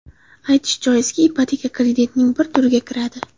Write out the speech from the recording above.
Aytish joizki, ipoteka kreditning bir turiga kiradi.